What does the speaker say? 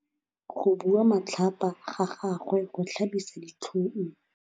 Go bua matlhapa ga gagwe go tlhabisa ditlhong.